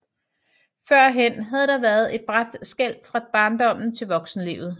Førhen havde der været et brat skel fra barndom til voksenlivet